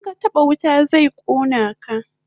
In ka taba wuta zai kona ka